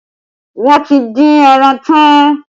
Wọ́n ti dín ẹran tán